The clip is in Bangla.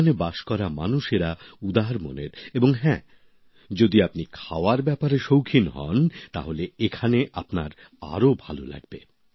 এখানে বাস করা মানুষেরা উদার মনের এবং হ্যাঁ যদি আপনি খাওয়ার ব্যাপারে শৌখিন হন তাহলে এখানে আপনার আরো ভালো লাগবে